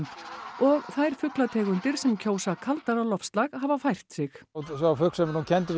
og þær fuglategundir sem kjósa kaldara loftslag hafa fært sig sá fugl sem er nú kenndur við